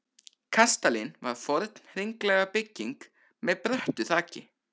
Kastalinn var forn hringlaga bygging með bröttu þaki.